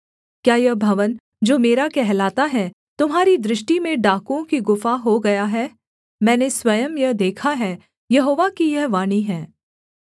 क्या यह भवन जो मेरा कहलाता है तुम्हारी दृष्टि में डाकुओं की गुफा हो गया है मैंने स्वयं यह देखा है यहोवा की यह वाणी है